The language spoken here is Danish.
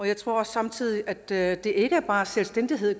jeg tror samtidig at det at det ikke bare er selvstændighed